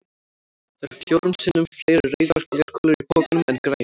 Það eru fjórum sinnum fleiri rauðar glerkúlur í pokanum en grænar.